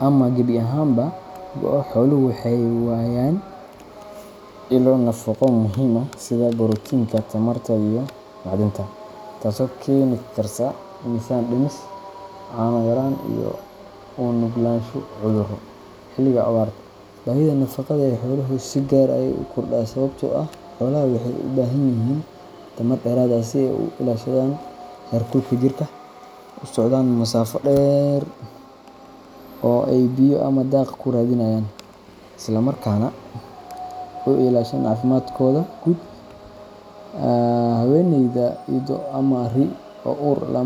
ama gebi ahaanba go’o, xooluhu waxay waayaan ilo nafaqo muhiim u ah sida borotiinka, tamarta, iyo macdanta, taasoo keeni karta miisaan dhimis, caano yaraan, iyo u nuglaansho cudurro. Xilliga abaarta, baahida nafaqada ee xooluhu si gaar ah ayey u kordhaa sababtoo ah xoolaha waxay u baahan yihiin tamar dheeraad ah si ay u ilaashadaan heerkulka jirka, u socdaan masaafo dheer oo ay biyo ama daaq ku raadiyaan, isla markaana u ilaashadaan caafimaadkooda guud. Haweeneyda ido ama ri’ ah oo uur leh lama.